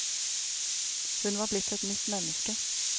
Hun var blitt et nytt menneske.